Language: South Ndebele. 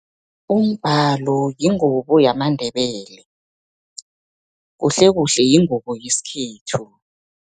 Umbalo, yingubo yamaNdebele, kuhlekuhle yingubo yeskhethu.